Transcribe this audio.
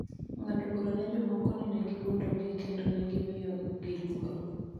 ng�ado bura ne jomoko ni ne giwuondogi kendo ne gimiyogi luoro.